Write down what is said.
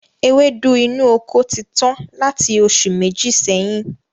Ewédú inú oko ti tán láti oṣù Méjì sẹ́yìn